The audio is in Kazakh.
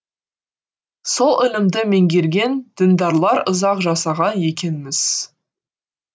сол ілімді меңгерген діндарлар ұзақ жасаған екен мыс